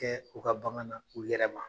Kɛ u ka bagan na u yɛrɛ ma